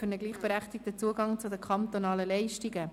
Für einen gleichberechtigten Zugang zu den kantonalen Leistungen».